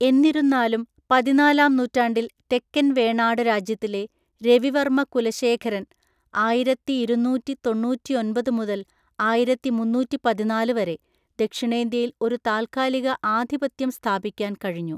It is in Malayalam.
എന്നിരുന്നാലും, പതിനാലാം നൂറ്റാണ്ടിൽ തെക്കൻ വേണാട് രാജ്യത്തിലെ രവിവർമ്മ കുലശേഖരന് (ആയിരത്തിയിരുന്നൂറ്റി തൊണ്ണൂറ്റിയൊന്‍പത് മുതൽ ആയിരത്തിമുന്നൂറ്റിപതിനാല് വരെ) ദക്ഷിണേന്ത്യയിൽ ഒരു താൽക്കാലിക ആധിപത്യം സ്ഥാപിക്കാൻ കഴിഞ്ഞു.